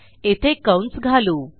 येथे कंस घालू